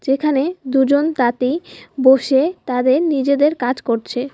যেখানে দুজন তাঁতি বসে তাদের নিজেদের কাজ করছে।